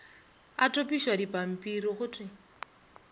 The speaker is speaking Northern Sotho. a topišwa dipampiri go thwe